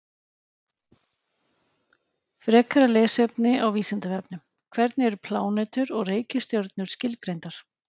Frekara lesefni á Vísindavefnum: Hvernig eru plánetur og reikistjörnur skilgreindar?